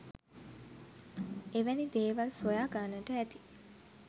එවැනි දේවල් සොයා ගන්නට ඇති